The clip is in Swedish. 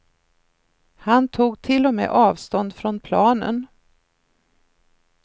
Han tog till och med avstånd från planen.